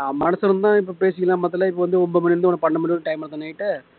ஆஹ் மனசுல இருந்தா இப்போ பேசிக்கலாம் மொத்தத்துல ஒன்பது மணியிலிருந்து உனக்கு பன்னெண்டு மணி வரைக்கும் time இருக்கு தானே night